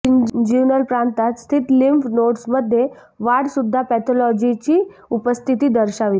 inguinal प्रांतात स्थित lymph nodes मध्ये वाढ सुद्धा पॅथॉलॉजीची उपस्थिती दर्शविते